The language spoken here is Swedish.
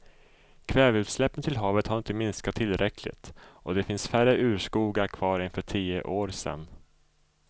Kväveutsläppen till havet har inte minskat tillräckligt och det finns färre urskogar kvar än för tio år sedan.